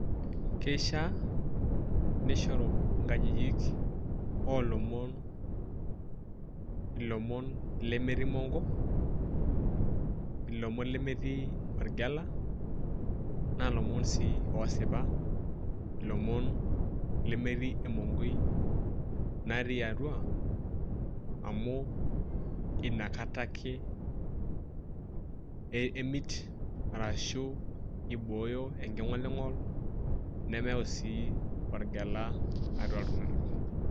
Keishaa nishoru inkajijik olomon ilomon lemetii monko , lomon lemetii orgela na lomon sii osipa, lomon lemetii emonkoi naati atua amuu inakata ake emit arashu iboyo enking'oli ng'ol nemeyau sii orgela atua iltung'ana.